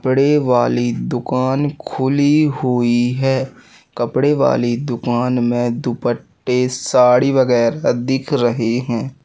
बड़ी वाली दुकान खुली हुई है कपड़े वाली दुकान में दुपट्टे साड़ी वगैरह दिख रहें है।